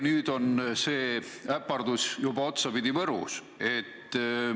Nüüd on see äpardus juba otsapidi Võrus.